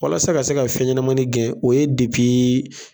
Walasa ka se ka fɛn ɲɛnamani gɛn o ye